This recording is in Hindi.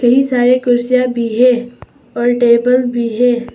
ढेर सारी कुर्सियां भी है और टेबल भी है।